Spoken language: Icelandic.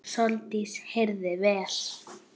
Sóldís heyrði vel.